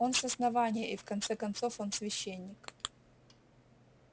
он с основания и в конце концов он священник